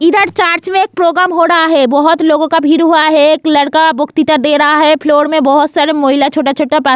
इधर चर्च में प्रोग्राम हो रहा है बहुत लोगो का भीड़ हुआ है एक लड़का बुक किताब दे रहा है फ्लोर में बहुत सारे महिला छोटा छोटा पा --